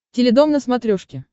теледом на смотрешке